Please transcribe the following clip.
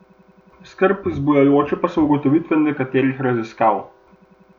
Skrb zbujajoče pa so ugotovitve nekaterih raziskav.